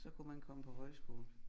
Så kunne man komme på højskole